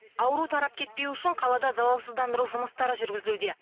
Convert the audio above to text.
ауру тарап кетпеуі үшін қалада залалсыздандыру жұмыстары жүргізілуде